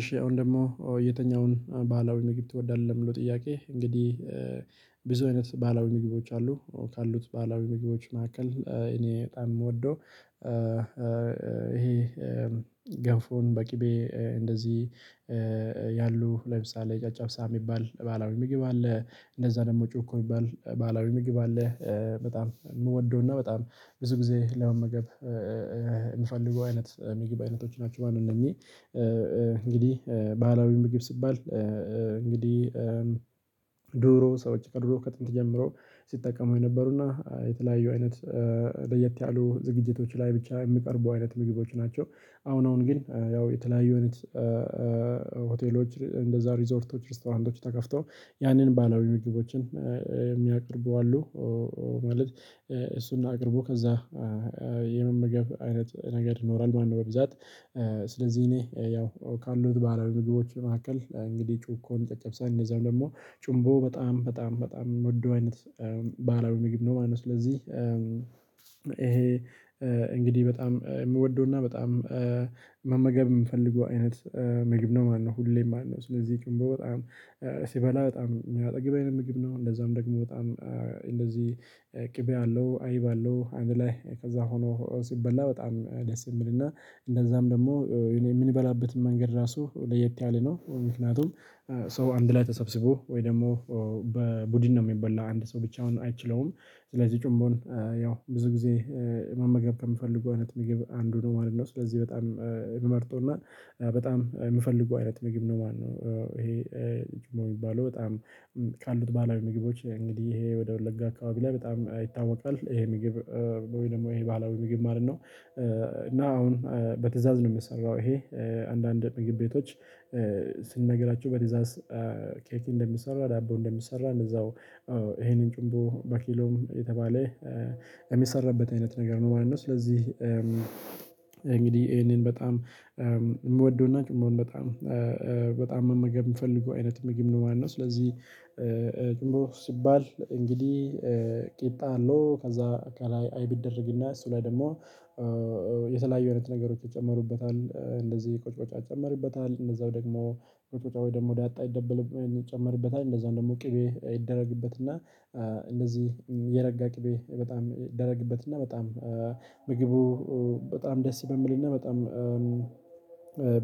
እሺ አሁን ደግሞ የትኛውን ባህላዊ ምግብ ትወዳለህ ለሚለው ጥያቄ እንግዲህ ብዙ አይነት ባህላዊ ምግቦች አሉ ካሉት ባህላዊ ምግቦች መካከል እኔ በጣም የምወደው። እሄ ገፎን በቅቤ እንደዚህ ያሉ ለምሳሌ ጨጨብሳ የሚባል ባላዊ ምግብ አለ እንደዛ ደግሞ ጨኮ የሚባል ባህላዊ ምግብ አለ። በጣም የምወደውና በጣም ብዙ ጊዜ ለመመገብ የምፈልገው አይነት የምግብ አይነቶች ናቸው ማለት ነው። እነኚህ እንግዲህ ባህላዊ ምግብ ሲባል እንግዲህ ድሮ ሰወች ከድሮ ከጥንት ጀምሮ ሲጠቀሙ የነበሩና የተለያዩ አይነት ለየት ያሉ ዝግጅቶች ላይ ብቻ የሚቀርቡ አይነት ምግቦች ናቸው። አሁን አሁን ግን ያው የተለያዩ አይነት ሆቴሎች እንደዛ ሪዞርቶች ሬስቶራንቶች ተከፍተው ያንን ባህላዊ ምግቦችን የሚያቀርቡ አሉ። ማለት እሱን አቅርቦ ከዛ የመመገብ አይነት ነገር ይኖራል ማለት ነው። በብዛት ስለዚህ እኔ ያው ካሉት ባህላዊ ምግቦች መካከል እንግዲህ ጭኮን ጨጨብሳን እንደዛው ደግሞ ጩምቦ በጣም በጣም በጣም የምወደው አይነት ባህላዊ ምግብ ነው። ማለት ነው ስለዚህ እሄ እንግዲህ በጣም የምወደውና በጣም መመገብ የምፈልገው አይነት ምግብ ነው ማለት ነው። ሁሌም ማለት ነው ስለዚህ ጭንቦ በጣም ስበላ በጣም የሚያጠግበኝ ምግብ ነው እንደዛም ደግሞ በጣም እንደዚህ ቅቤ አለው አይብ አለው አንድ ላይ ከዛ ሆኖ ሲበላ በጣም ደስ የሚልና እንደዛም ደግሞ እኔ የምንበላበት መንገድ ራሱ ለየት ያለ ነው። ምክንያቱም ሰው አንድ ላይ ተሰብስቦ ወይ ደግሞ በቡድን ነው የሚበላው አንድ ሰው ብቻውን አይችለውም። ስለዚህ ጩቦን ያው ብዙ ጊዜ መመገብ ከምፈልገው አይነት ምግብ አንዱ ነው ማለት ነው። ስለዚህ በጣም የምመርጠውና በጣም የምፈልገው አይነት ምግብ ነው ማለት ነው። እሄ ጩቦ የሚባለው በጣም ካሉት ባህላዊ ምግቦች እንግዲህ እሄ ወደ ወለጋ አካባቢ ላይ በጣም ይታወቃል እሄ ምግብ ወይ ደግሞ እሄ ባህላዊ ምግብ ማለት ነው። እና አሁን በትእዛዝ ነው የሚሰራው እሄ አንዳንድ ምግብ ቤቶች ስንነግራችሁ በትዛዝ ከየት እንደሚሰራ ዳቦ እንደሚሰራ እንደዛው እሄንን ጭቦ በኪሎም የተባለ የሚሰራበት አይነት ነገር ነው ማለት ነው። ስለዚህ እንግዲህ ይሄንን በጣም የምወደውና ጭቦን በጣም በጣም መመገብ የምፈልገው አይነት ምግብ ነው ማለት ነው። ስለዚህ ጩቦ ሲባል እንግዲህ ቂጣ አለው ከዛ ከላይ አይብ ይደረግና እሱ ላይ ደግሞ የተለያዩ አይነት ነገሮች ይጨመሩበታል እንደዚህ ቁጭ ቁጫ ይጨመርበታል እንደዛው ደግሞ ቁጭ ቁጫ ወይ ደግሞ ዳጣ ይደበል ይጨመርበታል እንደዛው ደግሞ ቅቤ ይደረግበትና እንደዚህ የረጋ ቅቤ በጣም ይደረግበትና በጣም ምግቡ በጣም ደስ በሚልና በጣም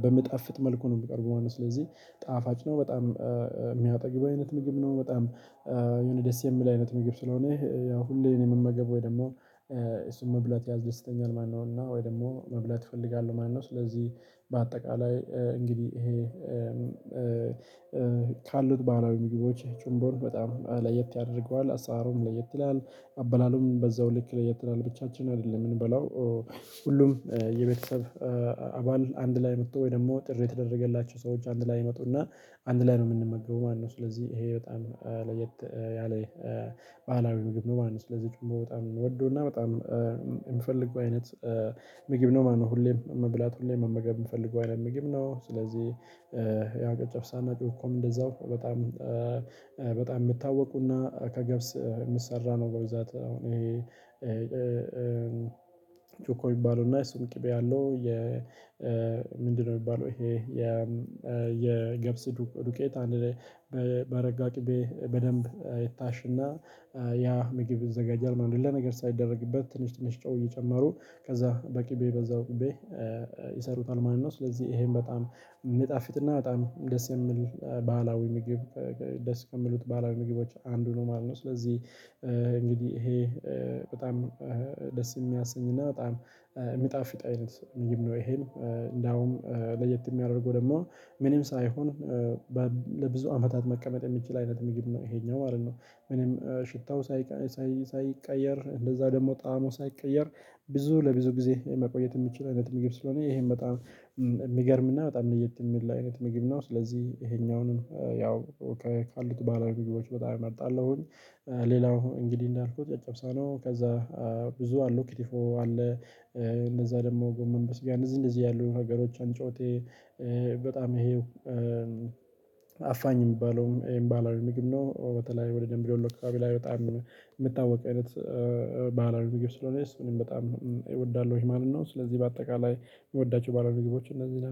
በሚጣፍጥ መልኩ ነው የሚቀርበው ማለት ነው። ስለዚህ ጣፋጭ ነው በጣም የሚያጠግብ አይነት ምግብ ነው። በጣም የሆነ ደስ የሚል አይነት ምግብ ስለሆነ አሁን ላይ የምንመገበው ደግሞ እሱን መብላት ያዝደስተኛል። ማነው እና ወይ ደግሞ መብላት ይፈልጋሉ ማነው? ስለዚህ በአጠቃላይ እንግዲህ እሄ ካሉት ባህላዊ ምግቦች ጭንቦን በጣም ለየት ያደርገዋል አሰራሩም ለየት ይላል አበላሉም በዛው ልክ ለየት ይላል። ብቻችን አይደለም የምንበላው ሁሉም የቤተሰብ አባል አንድ ላይ መጥቶ ወይ ደግሞ ጥሪ የተደረገላቸው ሰዎች አንድ ላይ ይመጡና አንድ ላይ ነው የምንመገበው ማለት ነው። ስለዚህ እሄ በጣም ለየት ያለ ባህላዊ ምግብ ነው ማለት ነው። ስለዚህ ጩቦ በጣም ምወደውና በጣም የምፈልገው አይነት ምግብ ነው ማለት ነው። ሁሌም መብላት ሁሌም መመገብ የምፈልገው አይነት ምግብ ነው ስለዚህ ያው ጨጨብሳም እና ጭኮም እንደዛው በጣም በጣም የሚታወቁና ከገብስ የሚሰራ ነው። በብዛት አሁን እሄ ጩኮ ይባሉና እሱም ቅቤ አለው የ ምንድነው? የሚባለው እሄ የ የገብስ ዱቄት አንድ ላይ በረጋ ቂቤ በደንብ ይታሽና ያ ምግብ ይዘጋጃል ማለት ነው። ሌላ ነገር ሳይደረግበት ትንሽ ትንሽ ጨው እየጨመሩ ከዛ በቂቤ በዛው ቂቤ ይሰሩታል ማለት ነው። ስለዚህ እሄም በጣም ሚጣፊጥና በጣም ደስ የሚል ባህላዊ ምግብ ደስ ከሚሉት ባህላዊ ምግቦች አንዱ ነው ማለት ነው። ስለዚህ እንግዲህ እሄ በጣም ደስ የሚያሰኝና በጣም የሚጣፊጥ አይነት ምግብ ነው። እሄን እንደውም ለየት የሚያደርገው ደግሞ ምንም ሳይሆን ለብዙ አመታት መቀመጥ የሚችል አይነት ምግብ ነው እሄኛው ማለት ነው። ምንም ሽታው ሳይቀየር እንደዛ ደግሞ ጣዕሙ ሳይቀየር ብዙ ለብዙ ጊዜ መቆየት የሚችል አይነት ምግብ ስለሆነ እሄም በጣም የሚገርም እና በጣም ለየት የሚል አይነት ምግብ ነው። ስለዚህ እሄኛውንም ያው ካሉት ባህላዊ ምግቦች በጣም እመርጣለሁኝ። ሌላው እንግዲህ እንዳልኩት ጨጨብሳ ነው። ከዛ ብዙ አሉ ክትፎ አለ። እንደዛ ደግሞ ጎመን በስጋ እንደዚህ እንደዚህ ያሉ ነገሮች እንጮቴ በጣም ይሄው አፋኝ የሚባለውም ይሄም ባህላዊ ምግብ ነው። በተለይ ወደ ደንቢዶሎ አካባቢ ላይ በጣም የምታወቀው አይነት ባህላሪ ሚግብ ስለሆነስ ምንም በጣም እወዳለሁኝ ማለት ነው። ስለዚህ በአጠቃላይ የምወዳቸው ባህላዊ ሚግቦች እነዚህ ነው።